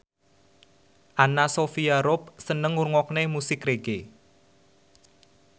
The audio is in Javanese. Anna Sophia Robb seneng ngrungokne musik reggae